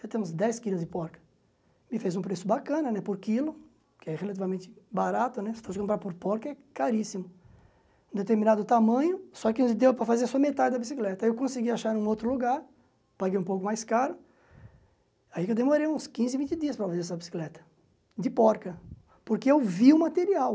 já tem uns dez quilos de porca, e fez um preço bacana né por quilo, que é relativamente barato né, você pode comprar por porca, é caríssimo, um determinado tamanho, só que não deu para fazer só metade da bicicleta, aí eu consegui achar em outro lugar, paguei um pouco mais caro, aí que eu demorei uns quinze, vinte dias para fazer essa bicicleta, de porca, porque eu vi o material.